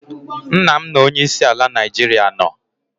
Nna' m na onye isi ala Naijiria nọ